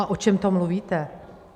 A o čem to mluvíte?